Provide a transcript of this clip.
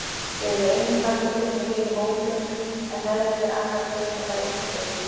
Þau eru einu kattardýrin sem lifa í hópum en meðlimir annarra tegunda fara einförum.